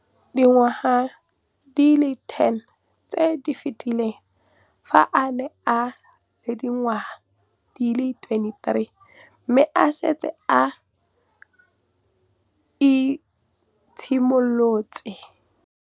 Dingwaga di le 10 tse di fetileng, fa a ne a le dingwaga di le 23 mme a setse a itshimoletse